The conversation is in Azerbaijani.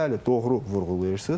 Bəli, doğru vurğulayırsız.